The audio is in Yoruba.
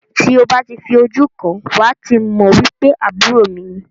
Ti o ba ti fi ojú kan wá ti mọ wipe àbúrò mi ni.